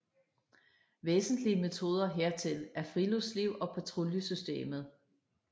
Væsentlige metoder hertil er friluftsliv og patruljesystemet